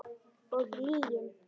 Og lygin.